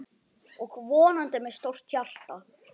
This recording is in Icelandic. Og vonandi með stórt hjarta.